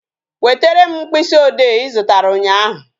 Wetere m mkpịsị ode Ị zụtara ụnyaahụ